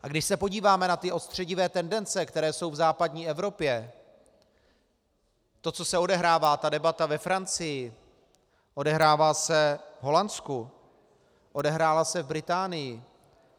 A když se podíváme na ty odstředivé tendence, které jsou v západní Evropě, to, co se odehrává, ta debata ve Francii, odehrává se v Holandsku, odehrála se v Británii.